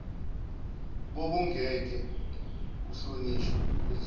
bokungeke kuhlonishwe kuzicelo